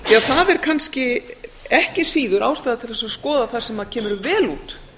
það er kannski ekki síður ástæða til þess að skoða það sem kemur vel út